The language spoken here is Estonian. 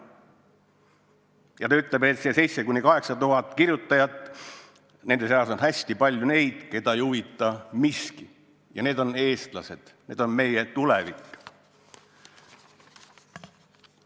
Ja ta ütleb, et nende 7000–8000 kirjutaja seas on hästi palju neid, keda ei huvita miski, ja need on eestlased, need on meie tulevik.